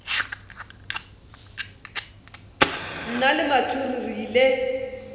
nna le mathuhu re ile